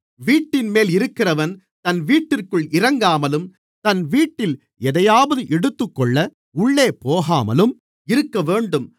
வீட்டின்மேல் இருக்கிறவன் தன் வீட்டிற்குள் இறங்காமலும் தன் வீட்டில் எதையாவது எடுத்துக்கொள்ள உள்ளே போகாமலும் இருக்கவேண்டும்